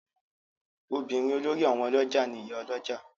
Obìnrin olórí àwọn olójà ni Ìyá Olójà.